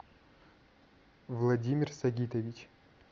владимир сагитович